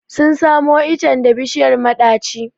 Sun samo icen da bishiyar maɗaci.